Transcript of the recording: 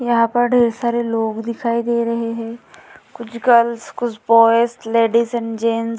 यहाँ पर ढेर सारे लोग दिखाई दे रहे है कुछ गर्ल्स कुछ बॉयज लेडीज़ एंड गेट्स --